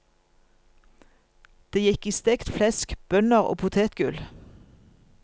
Det gikk i stekt flesk, bønner og potetgull.